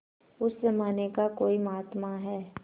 उस जमाने का कोई महात्मा है